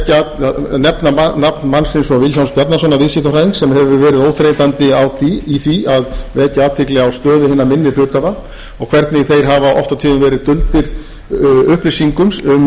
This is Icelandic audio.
til að nefna nafn mannsins vilhjálms bjarnasonar viðskiptafræðings sem hefur verið óþreytandi í því að vekja athygli á stöðu hinna minni hluthafa og hvernig þeir hafa oft og tíðum verið bundnir upplýsingum um stöðu fyrirtækja sem